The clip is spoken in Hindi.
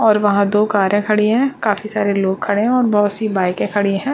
और वहाँ दो कारे खड़ी है काफी सारे लोग खड़े है बहुत सी बाइके खड़ी है।